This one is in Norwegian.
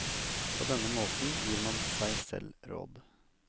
På denne måten gir man seg selv råd.